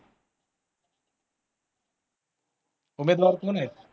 उमेदवार कोण आहेत?